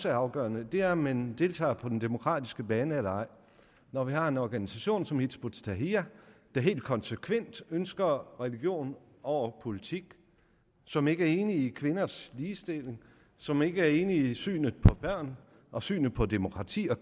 afgørende er om man deltager på den demokratiske bane eller ej når vi har en organisation som hizb ut tahrir der helt konsekvent ønsker religion over politik som ikke er enig i kvinders ligestilling som ikke er enig i synet på børn og synet på demokrati og